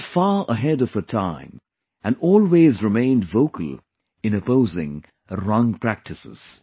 She was far ahead of her time and always remained vocal in opposing wrong practices